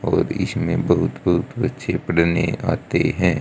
और इस में बहुत बहुत बच्चे पढ़ने आते हैं।